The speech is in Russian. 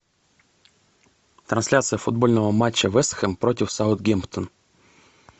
трансляция футбольного матча вест хэм против саутгемптон